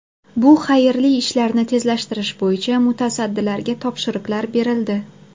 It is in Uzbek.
Bu xayrli ishlarni tezlashtirish bo‘yicha mutasaddilarga topshiriqlar berildi.